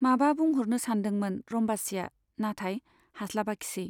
माबा बुंह'रनो सानदोंमोन रम्बासीया, नाथाय हास्लाबाखिसै।